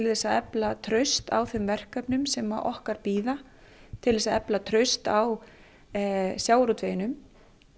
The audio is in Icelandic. þess að efla traust á þeim verkefnum sem okkar bíða til þess að efla traust á sjávarútveginum